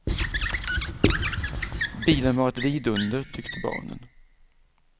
Bilen var ett vidunder, tyckte barnen.